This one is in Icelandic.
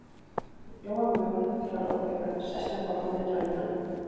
Ég flóa mjólk til að róa hugann, sest með bollann við tölvuna.